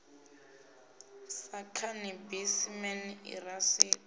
sa khanabisi man irakisi na